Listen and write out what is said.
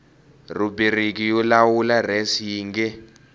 rhubiriki yo lawula res xiyenge